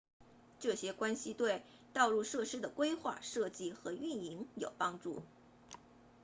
这些关系对道路设施的规划设计和运营有帮助